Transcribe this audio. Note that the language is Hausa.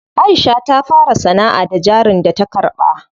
Aisha ta fara sanaʼa da jarin da ta karɓa.